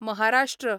Maharashtra